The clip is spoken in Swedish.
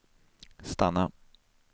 stanna